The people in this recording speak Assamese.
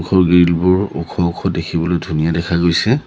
ওখ গ্ৰীলবোৰ ওখ ওখ দেখিবলৈ ধুনীয়া দেখা গৈছে।